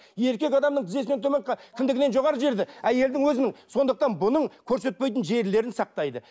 еркек адамның тізесінен төмен кіндігінен жоғары жерде әйелдің өзінің сондықтан бұның көрсетпейтін жерлерін сақтайды